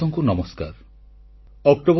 • ଓଡିଆ ଲୋକେ ଖୁବ୍ ଉତ୍ସାହୀ